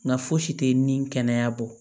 Nka fosi tɛ ni kɛnɛya bɔ